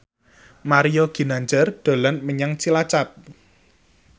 Mario Ginanjar dolan menyang Cilacap